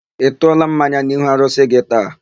Ị tụọla mmanya n'ihu arụsị gị taa?